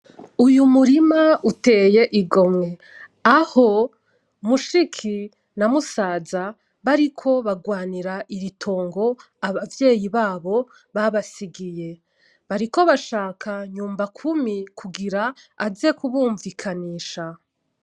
Uyu murima uteye igomwe, aho mushiki na musaza bariko bagwanira iri tongo abavyeyi babo babasigiye, bariko bashaka nyumbakumi kugira aze kubunvikanisha.